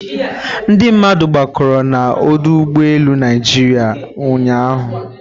Ndị mmadụ gbakọrọ na ọdụ ụgbọ elu Naịjirịa ụnyahụ.